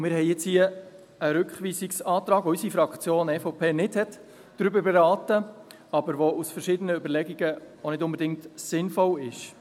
Wir haben jetzt hier einen Rückweisungsantrag, über den unsere Fraktion EVP nicht beraten hat, der aber aus verschiedenen Überlegungen auch nicht unbedingt sinnvoll ist.